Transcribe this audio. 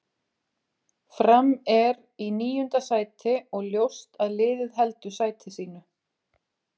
Fram er í níunda sæti og ljóst að liðið heldur sæti sínu.